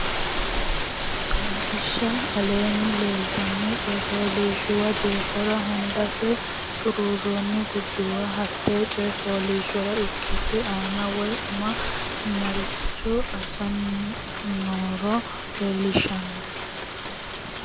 Qaagiishsha Aleenni leeltanno coy fooliishshuwa jeefora hundansa xuruurroonni gurduwa hatte coy fooliishshora ikkitote anni woy ama maricho assinoro assitinoro leellishshanno.